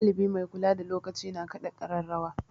Ɗalibi mai kula da lokaci na kaɗa ƙararrawa.